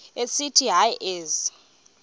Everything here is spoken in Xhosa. esithi hayi ezi